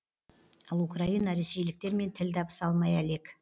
ал украина ресейліктермен тіл табыса алмай әлек